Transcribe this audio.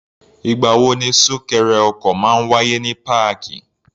Ì̀gbà wo ni súnkẹrẹ ọkọ̀ máa ń wáyé ní páàkì?